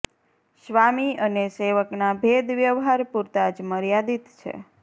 સ્વામી અને સેવકના ભેદ વ્યવહાર પૂરતા જ મર્યાદિત છે